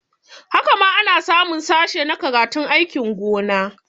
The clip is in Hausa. Haka ma ana samun sashe na karatun aikin gona